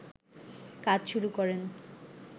কাজ শুরু করেন